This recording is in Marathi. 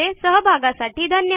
सहभागासाठी धन्यवाद